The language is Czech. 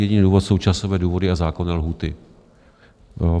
Jediný důvod jsou časové důvody a zákonné lhůty.